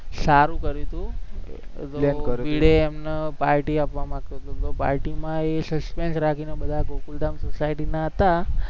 સારું કર્યું તું, ભીડે એમને પાર્ટી આપવા માંગતો હતો તો પાર્ટીમાં એ suspense રાખીને બધા ગોકુલધામ સોસાયટીના હતા